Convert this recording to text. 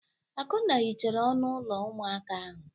Akunna hichara ọnụ ụlọ ụmụaka ahụ.